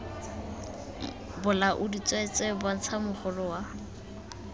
bolaodi tsweetswee bontsha mogolo wa